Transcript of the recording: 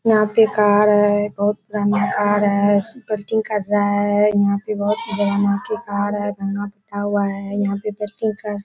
यहाँ पे कार है बहुत पुराना कार कर रहा है यहाँ पे बहुत अनोखे कार है --